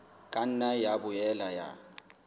ka nna ya boela ya